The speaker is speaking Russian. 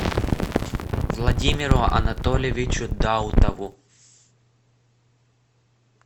владимиру анатольевичу даутову